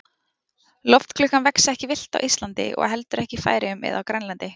Lotklukkan vex ekki villt á Íslandi og ekki heldur í Færeyjum eða á Grænlandi.